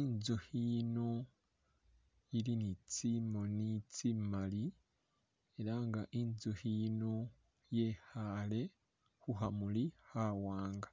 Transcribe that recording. inzukhi ili ni tsimoni tsimali ela nga inzukhi yino yekhaale khu khamuli khawaanga.